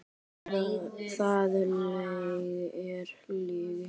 Það er lygi!